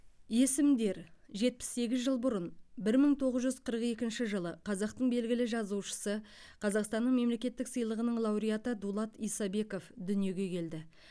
есімдер жетпіс сегіз жыл бұрын бір мың тоғыз жүз қырық екінші жылы қазақтың белгілі жазушысы қазақстанның мемлекеттік сыйлығының лауреаты дулат исабеков дүниеге келді